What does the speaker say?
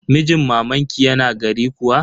Mijin mamanki yana gari kuwa?